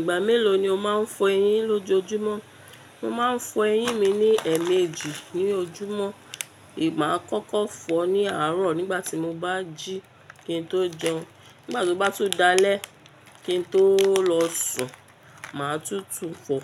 Ìgbà mélòó ni o máa ń fọ eyín lójojúmọ́? Mo máa ń fọ eyín mi ní ẹ̀ẹ̀méjì ní ojúmọ́. Má a kọ́kọ́ fọ ní àárọ̀ nígbà tí mo bá jí kí n tó jẹun, nígbà tó bá tún dalẹ́ kí n tó lọ sùn, mà á tútù fọ